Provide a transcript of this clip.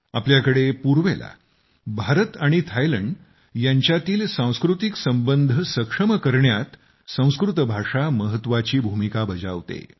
आपल्याकडे पूर्वेला भारत आणि थायलंड यांच्यातील सांस्कृतिक संबंध सक्षम करण्यात संस्कृत भाषा महत्त्वाची भूमिका बजावते